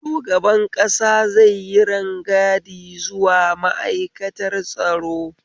Shugaban ƙasa zai yi rangadi zuwa ma'aikatar tsaro